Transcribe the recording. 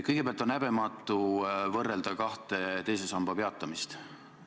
Kõigepealt, on häbematu võrrelda kahte teise samba peatamist.